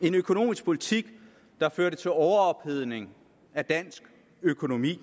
en økonomisk politik der førte til overophedning af dansk økonomi